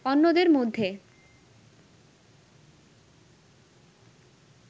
অন্যদের মধ্যে